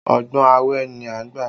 Ọgbọ́n awẹ ni a gbà